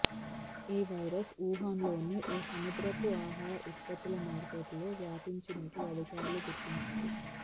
ఈ వైరస్ వుహాన్లోని ఓ సముద్రపు ఆహార ఉత్పత్తుల మార్కెట్ లో వ్యాపించినట్లు అధికారులు గుర్తించారు